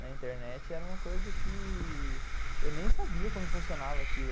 Na internet era uma coisa que eu nem sabia como funcionava aquilo.